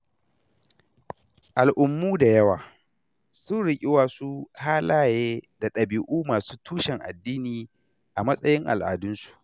Al'ummu da yawa, sun riƙi wasu halaye da ɗabi'u masu tushen addini a matsayin al'adunsu.